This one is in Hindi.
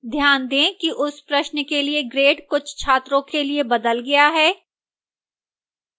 ध्यान दें कि उस प्रश्न के लिए grade कुछ छात्रों के लिए बदल गया है